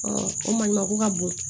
o maɲi mako ka bon